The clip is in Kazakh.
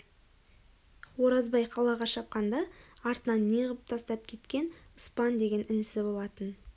оразбай қалаға шапқанда артына не ғып тастап кеткен ыспан деген інісі болатын